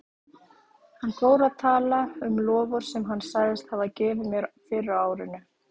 Hann fór að tala um loforð sem hann sagðist hafa gefið mér fyrr á árinu.